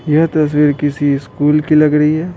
यह तस्वीर किसी स्कूल की लग रही है।